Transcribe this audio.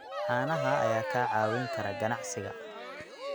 Caanaha ayaa kaa caawin kara ganacsiga.